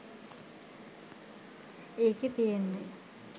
ඒකෙ තියෙන්නෙ